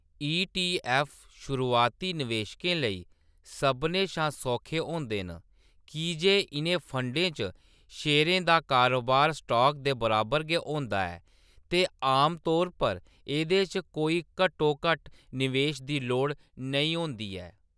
ई. T. F. शुरुआती निवेशकें लेई सभनें शा सौखे होंदे न की जे इʼनें फंडें च शेयरें दा कारोबार स्टाक दे बराबर गै होंदा ऐ ते आमतौर पर एह्‌‌‌दे च कोई घट्टोघट्ट निवेश दी लोड़ नेईं होंदी ऐ।